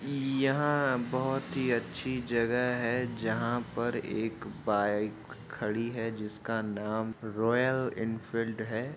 यहाँ बहोत ही अच्छी जगह है। जहाँ पर एक बाइक खड़ी है जिसका नाम रॉयल इनफिल्ड है।